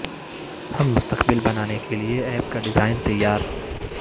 ہم مستقبل بنانے کے لئے اپ کا ڈیزائن تیار